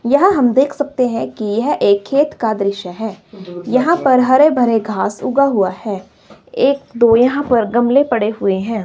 यह हम देख सकते हैं कि यह एक खेत का दृश्य है यहां पर हरे भरे घास उगा हुआ है एक दो यहां पर गमले पड़े हुए हैं।